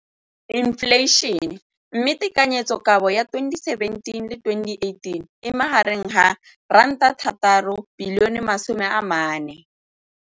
Infleišene, mme tekanyetsokabo ya 2017, 18, e magareng ga R6.4 bilione.